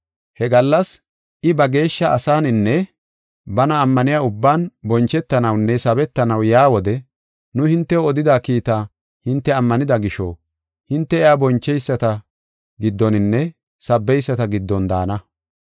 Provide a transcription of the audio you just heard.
He gallas, I ba geeshsha asaaninne bana ammaniya ubban bonchetanawunne sabetanaw yaa wode nu hintew odida kiitaa hinte ammanida gisho, hinte iya boncheyisata giddoninne sabbeyisata giddon daana.